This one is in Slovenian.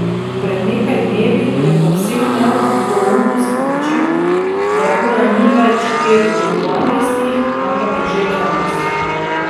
Pred nekaj dnevi je povsem nedvoumno sporočil, da ura ni več pet do dvanajstih, ampak je že dvanajst.